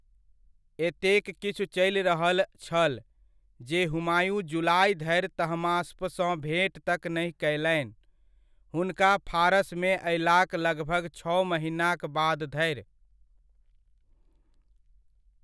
एतेक किछु चलि रहल छल, जे हुमायूँ जुलाइ धरि तहमास्पसँ भेट तक नहि कयलनि, हुनका फारसमे अयलाक लगभग छओ महिनाक बाद धरि।